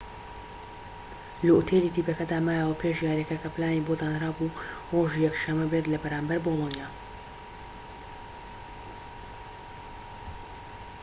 لە ئوتێلی تیپەکەدا مایەوە پێش یاریەکە کە پلانی بۆ دانرابوو رۆژی یەك شەمە بێت لە بەرامبەر بۆلۆنیا